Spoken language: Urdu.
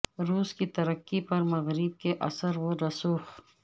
روس کی ترقی پر مغرب کے اثر و رسوخ